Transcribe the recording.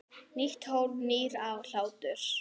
Nýtt hólf- nýr hlátur